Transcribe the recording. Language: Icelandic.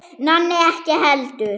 Nonni ekki heldur.